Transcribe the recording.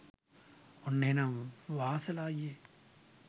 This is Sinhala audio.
ඔන්න එහෙනම් වාසල අයියේ